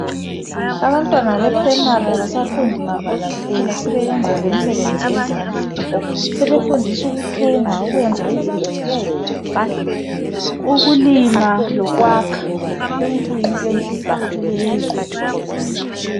Abantwana beprimary abasafundi mabala kuphela sebeyenza lemisebenzi yezandla, sebefundiswa ukuthunga, ukwenza izingcebethu, ukulima lokwakha. Lokhu kuyinto enhle kakhulu elizweni.